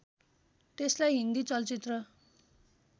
त्यसलाई हिन्दी चलचित्र